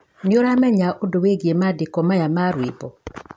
unajua kuhusu haya maandishi ya wimbo